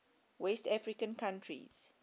west african countries